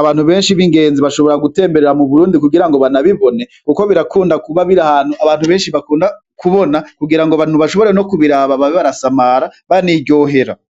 abantu benshi bingenzi bashobora gutemberera mu Burundi kugira ngo babibone kuko birakunda kuba biri ahantu abantu benshi bakunda kubona, kugira ngo abantu bashobore kubiraba babe barasamara baniryohere.